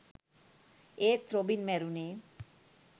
ඒත් රොබින් මැරුණේ